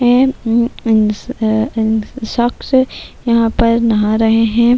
شخص یھاں پر نہا رہی ہیں-